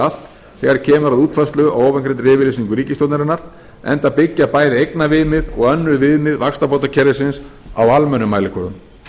allt þegar kemur að útfærslu á ofangreindri yfirlýsingu ríkisstjórnarinnar enda byggja bæði eignaviðmið og önnur viðmið vaxtabótakerfisins á almennum mælikvörðum